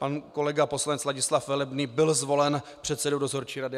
Pan kolega poslanec Ladislav Velebný byl zvolen předsedou dozorčí rady.